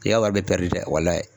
I y'a wari bɛɛ dɛ walayi.